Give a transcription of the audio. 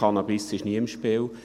Cannabis ist nie im Spiel.